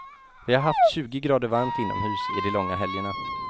Vi har haft tjugo grader varmt inomhus i de långa helgerna.